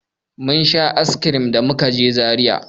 Mun sha "ice cream" da muka je fak a Zaria.